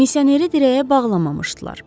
Misioneri dirəyə bağlamamışdılar.